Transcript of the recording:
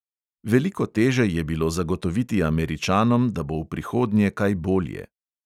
Veliko teže je bilo zagotoviti američanom, da bo v prihodnje kaj bolje.